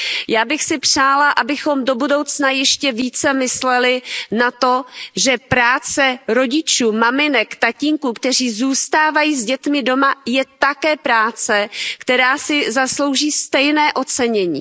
Já bych si přála, abychom do budoucna ještě více mysleli na to, že práce rodičů, maminek, tatínků, kteří zůstávají s dětmi doma, je také práce, která si zaslouží stejné ocenění.